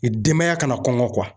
Denbaya kana kɔngɔ